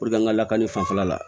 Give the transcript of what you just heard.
an ka lakanani fanfɛla la